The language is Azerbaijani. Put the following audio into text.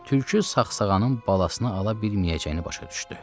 Tülkü sağsağanın balasına ala bilməyəcəyini başa düşdü.